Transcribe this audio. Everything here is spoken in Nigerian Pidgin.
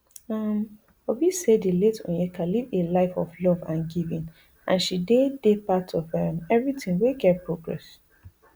um obi say di late onyeka live a life of love and giving and she dey dey part of um everitin wey get progress